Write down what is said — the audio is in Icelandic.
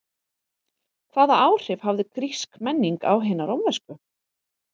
Hvaða áhrif hafði grísk menning á hina rómversku?